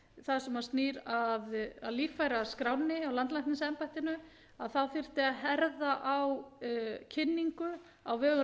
það sem snýr að líffæraskránni hjá landlæknisembættinu að það þyrfti að herða á kynningu á vegum